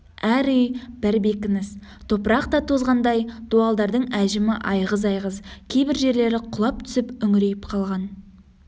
әр үй бір бекініс топырақ та тозғандай дуалдардың әжімі айғыз-айғыз кейбір жерлері құлап түсіп үңірейіп қалған